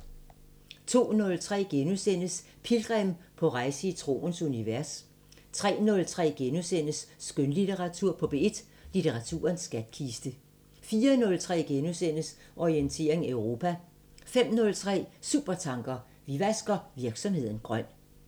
02:03: Pilgrim – på rejse i troens univers * 03:03: Skønlitteratur på P1: Litteraturens skatkiste * 04:03: Orientering Europa * 05:03: Supertanker: Vi vasker virksomheden grøn